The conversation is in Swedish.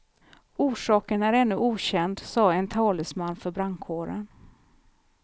Orsaken är ännu okänd sade en talesman för brandkåren.